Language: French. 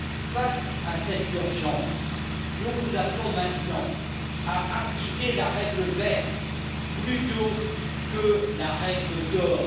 Face à cette urgence, nous vous appelons maintenant à appliquer la règle verte plutôt que la règle d'or.